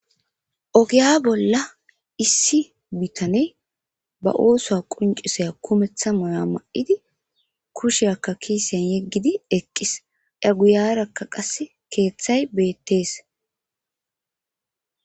ogiya bolla issi bitaney ba oosoa quncisaya kumeththa moya ma7idi kusheakka kiisen yeggidi eqqis eguyarakka qas keeththay beettees